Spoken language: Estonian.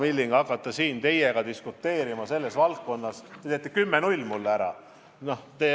Kui ma hakkan siin teiega selles valdkonnas diskuteerima, siis te teete 10 : 0 mulle ära!